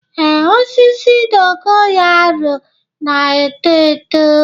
Ee, osisi dogo yaro na-eto eto.